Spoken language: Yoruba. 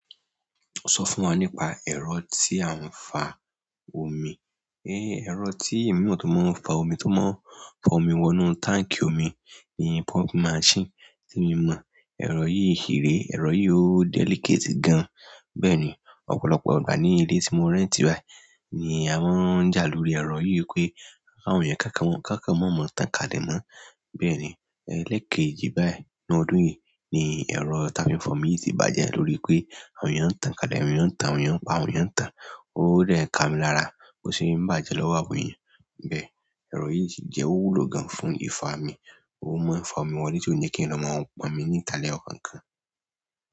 Sọ fún wa nípa ẹ̀rọ tí a ń fa omi. Ẹ̀rọ tí emi mọ̀ tó mọ̀ n fa omi tó mọ̀ fa omi wo inú tank omi ni pumping machine, ti emi mo ẹ̀rọ yìí ṣi ré, ẹ̀rọ yìí ó delicate gan. Bẹ́ẹ̀ ni, ọ̀pọ̀lọpọ̀ ìgbà ní ilé tí mo rẹ́ntì báyìí ni a máa ń jà lórí ẹ̀rọ yìí pé kawọn èèyàn kán kan maa mọ tan kalẹ̀ mo bẹ́ẹ̀ ni, elékejì báyìí ní ọdún yìí ni ẹ̀rọ táa fi ń fọ́ omi yìí ti bàjẹ́ lórí pé àwọn èèyàn ń tán kálẹ̀, àwọn èèyàn ń tan, àwọn èèyàn n pa, àwọn èèyàn ń tán. Ó dẹ̀ ká mi lára, o sì ń bàjẹ́ lọ́wọ́ àwọn èèyàn. Bẹ̀e, ẹ̀rọ yìí sì jẹ́ owú ló gan fún ifá mi. Mo máa ń fi fa omi wọlé ti o ni kí n lọ máa pọn omi ní ìtá lẹ̀yọ̀kọ̀ọ̀kan.